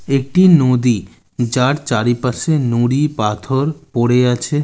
একটিই নদীই যার চারিপাশে নুড়িই পাথওর পড়ে আছে।